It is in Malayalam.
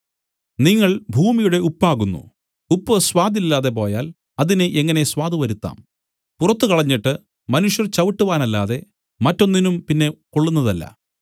നിങ്ങൾ ഭൂമിയുടെ ഉപ്പാകുന്നു ഉപ്പ് സ്വാദ് ഇല്ലാതെ പോയാൽ അതിന് എങ്ങനെ സ്വാദ് വരുത്താം പുറത്തു കളഞ്ഞിട്ട് മനുഷ്യർ ചവിട്ടുവാനല്ലാതെ മറ്റൊന്നിനും പിന്നെ കൊള്ളുന്നതല്ല